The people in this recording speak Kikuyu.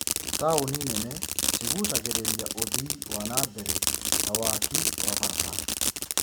Taūni nene cigucagĩrĩria ũthii wa nambere ta waaki wa barabara